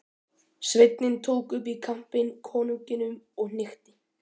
Sveinninn tók upp í kampinn konunginum og hnykkti.